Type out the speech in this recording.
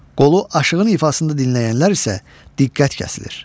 Qolu aşığın ifasında dinləyənlər isə diqqət kəsilir.